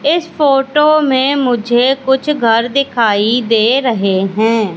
इस फोटो में मुझे कुछ घर दिखाई दे रहे हैं।